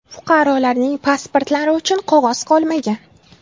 Fuqarolarning pasportlari uchun qog‘oz qolmagan.